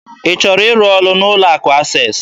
Ị chọrọ ịrụ ọrụ n'ụlọ akụ Access?